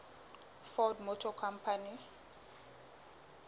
ford motor company